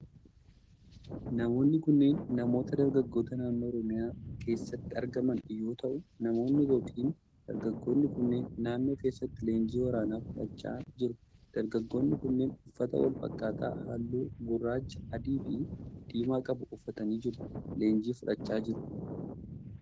Namoonni kunneen, namoota dargaggoota naannoo Oromiyaa keessatti argaman yoo ta'u, namoonni yokin dargaggoonni kunneen naannoo keessatti leenjii waraanaa fudhachaa jiru. Dargaggoonni kunneen, uffata walfakkaataa haalluu:gurraacha ,adii fi diimaa qabu uffatanii jru leenjii fudhachaa jiru.